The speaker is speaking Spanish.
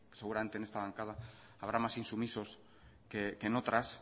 seguramente en esta bancada habrá más insumisos que en otras